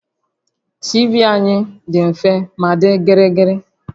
TV anyị dị mfe ma dị gịrịgịrị